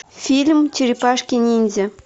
фильм черепашки ниндзя